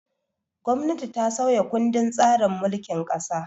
Gwamnati ta sauya kundin tsarin mulkin ƙasa.